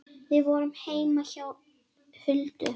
Við vorum heima hjá Huldu.